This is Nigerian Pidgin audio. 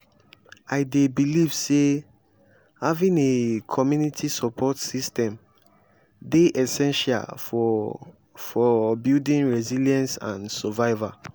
i dey believe say having a community support system dey essential for for building resilience and survival.